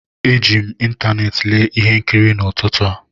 Eji m ịntanetị lee ihe nkiri n'ụtụtụ a